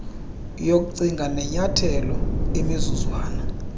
yokucinga nenyathelo imizuzwana